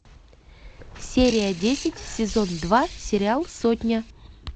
серия десять сезон два сериал сотня